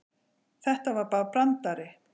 Þetta var bara brandari.